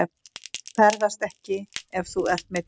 Þú ferðast ekki ef þú ert meiddur.